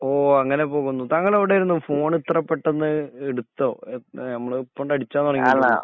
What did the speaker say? ഓ അങ്ങനെ പോകുന്നു. താങ്കള് എവിടെയായിരുന്നു? ഫോൺ ഇത്ര പെട്ടെന്ന് ഇടുത്തോ? ഏ നമ്മള് ഇപ്പൊ ഇങ്ങിട് അടിച്ചാൻ തുടങ്ങൊയിട്ടേ യൊള്ളു.